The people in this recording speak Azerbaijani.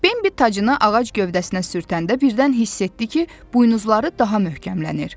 Bembi tacını ağac gövdəsinə sürtəndə birdən hiss etdi ki, buynuzları daha möhkəmlənir.